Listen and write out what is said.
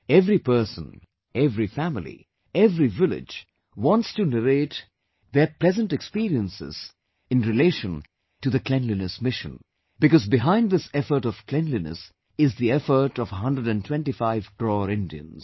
Every person, every family, every village wants to narrate their pleasant experiences in relation to the cleanliness mission, because behind this effort of cleanliness is the effort of 125 crore Indians